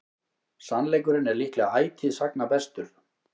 sannleikurinn er líklega ætíð sagna bestur